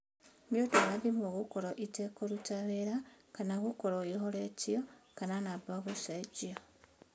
Nĩũndũ wa thimũ gũkorwo ĩtekũruta wĩra kana gũkorwo ĩhoretio kana namba gũcenjio.